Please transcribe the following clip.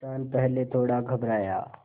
किसान पहले थोड़ा घबराया